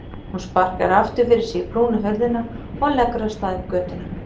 Hún sparkar aftur fyrir sig í brúna hurðina og leggur af stað upp götuna.